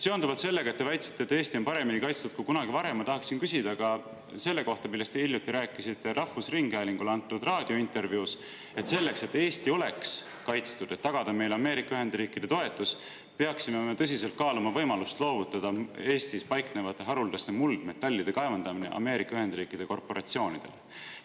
Seonduvalt sellega, et te väitsite, et Eesti on paremini kaitstud kui kunagi varem, tahaksin küsida ka selle kohta, millest te hiljuti rääkisite rahvusringhäälingule antud raadiointervjuus: selleks, et Eesti oleks kaitstud, et tagada meile Ameerika Ühendriikide toetus, peaksime tõsiselt kaaluma võimalust loovutada Eestis haruldaste muldmetallide kaevandamine Ameerika Ühendriikide korporatsioonidele.